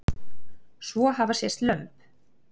Svo hafa sést lömb.